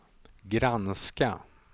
granska